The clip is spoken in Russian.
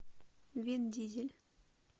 вин дизель